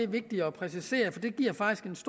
vigtigt at præcisere for det giver faktisk